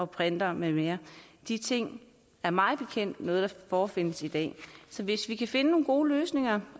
printere med mere de ting er mig bekendt noget der forefindes i dag så hvis vi kan finde nogle gode løsninger